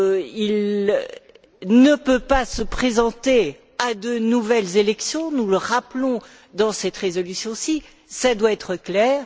Il ne peut pas se présenter à de nouvelles élections, nous le rappelons dans cette résolution, cela doit être clair.